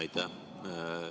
Aitäh!